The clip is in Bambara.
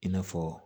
I n'a fɔ